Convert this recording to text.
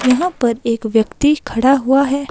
यहां पर एक व्यक्ति खड़ा हुआ है।